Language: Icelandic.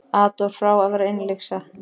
Adolf frá að verða innlyksa.